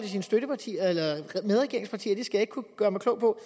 sine støttepartier eller medregeringspartier det skal jeg ikke kunne gøre mig klog på